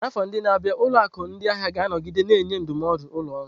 N'afọ ndị na-abịa, ụlọ akụ ndị ahịa ga-anọgide na-enye ndụmọdụ ụlọ ọrụ.